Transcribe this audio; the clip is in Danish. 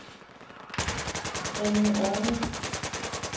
Alme Orned